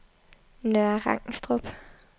Nørre Rangstrup